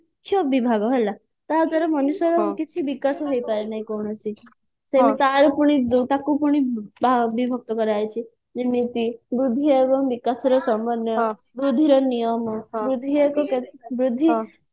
ମୁଖ୍ୟ ବିଭାଗ ହେଲା ତାଦ୍ୱାରା ମନୁଷ୍ୟର କିଛି ବିକାଶ ହେଇ ପାରେ ନାହିଁ କୌଣସି ତାର ପୁଣି ତାକୁ ପୁଣି ବିଭକ୍ତ କରା ଯାଇଛି ଯେମିତି ବୃଦ୍ଧି ଏବଂ ବିକାଶର ସମନ୍ନୟ ବୃଦ୍ଧିର ନିୟମ ବୃଦ୍ଧି ଏକ ବୃଦ୍ଧି